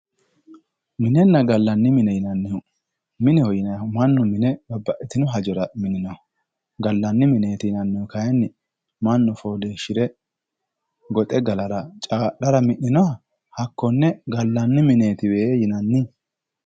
Minenna gallanni mine yinannihu mineho yinayhu mannu babbaxitino hajora mininoho. gallanni mineeti yinannihu kayinni mannu fooliishshire goxe galara caa'lara mi'ninoha hakkonne gallanni mineetiwe yinanni.